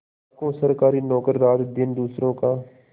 लाखों सरकारी नौकर रातदिन दूसरों का